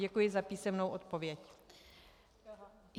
Děkuji za písemnou odpověď.